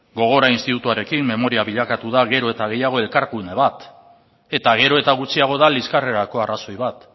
gogora institutuarekin memoria bilakatu da gero eta gehiago elkargune bat eta gero eta gutxiago da liskarrerako arrazoi bat